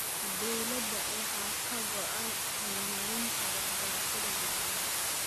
Dowladda waxaa ka go�an horumarinta waxbarashada gabdhaha.